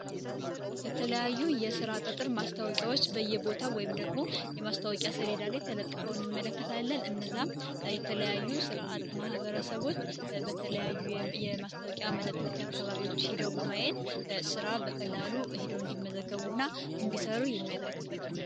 የተለያዩ የሥራ ቅጥር ማስታወቂያዎች በየቦታው ወይም ደግሞ የማስታወቂያ ሰሌዳ ላይ ተለጥፈው እንመለከታለን፣ እነዛም የተለያዩ ሥራ አጥ ማህበረሰቦች የማስታወቂያ መለጠፊ አካባቢዎች ሂደው በማየት ሥራ በቀላሉ ሂደው እንዲመዘገቡ እና እንዲሰሩ የሚያደረግበት ነው።